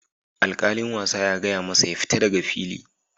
Alkalin wasa ya gaya masa "Ya fita daga fili"!,